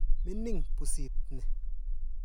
Mining' pusit ni.